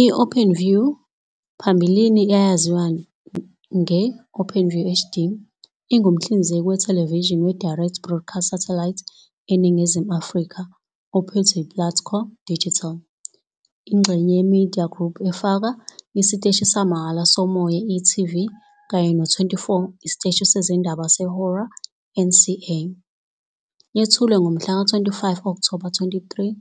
I-OpenView, phambilini eyayaziwa nge-OpenView HD, ingumhlinzeki wethelevishini we-Direct Broadcast Satellite eNingizimu Afrika ophethwe yiPlatco Digital, ingxenye ye-eMedia Group efaka isiteshi samahhala somoya i-e.tv kanye no-24- isiteshi sezindaba sehora eNCA. Y ethulwe ngomhlaka 15 Okthoba 2013,